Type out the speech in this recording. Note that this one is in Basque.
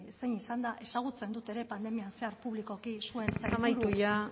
zein izan den ezagutzen dut ere pandemian zehar publikoki zuen sailburu amaitu ja